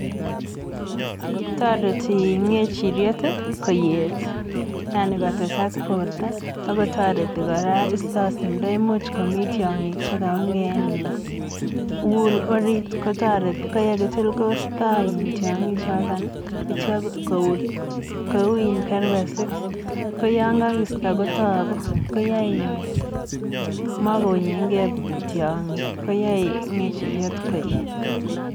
Toreti ng'echiriet koyet yani kotesak borto ak kotoreti kora isto simndo, imuch komii tiong'ik chekaunge en iin wool oriit kotoreti koyekitil kotoreti tiong'ik choton akityo kou kerbesik ko yoon kokisto kotoku ko yoe komokounyeng'e tiong'ik koyoe ng'echiryet koet.